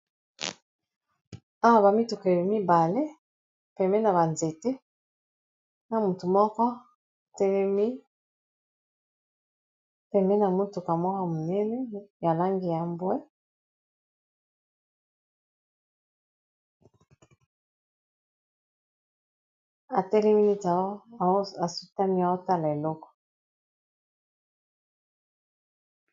Awa ba mituka mibale pembeni ya ba nzete na mutu moko telemi pembeni na mutuka mwa monene ya langi ya mbwe atelemi po asutami aotala eloko.